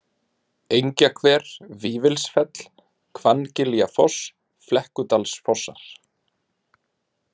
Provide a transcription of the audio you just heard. Engjahver, Vífilsfell, Hvanngiljafoss, Flekkudalsfossar